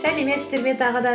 сәлеметсіздер ме тағы да